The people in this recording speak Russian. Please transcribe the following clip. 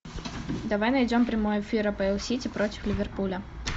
давай найдем прямой эфир апл сити против ливерпуля